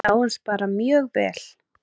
Sáust bara mjög vel.